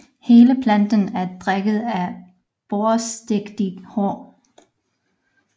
Hele planten er dækket af børsteagtige hår